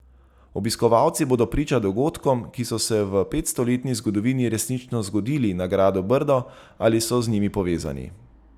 Obiskovalci bodo priča dogodkom, ki so se v petstoletni zgodovini resnično zgodili na gradu Brdo ali so z njim povezani.